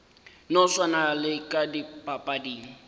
no swana le ka dipapading